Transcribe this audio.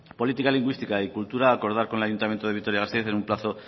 política lingüística y cultura acordar con el ayuntamiento de vitoria gasteiz en un plazo